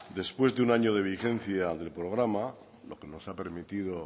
después de un año de vigencia del programa lo que nos ha permitido